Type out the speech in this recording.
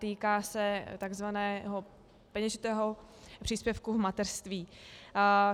Týká se takzvaného peněžitého příspěvku v mateřství.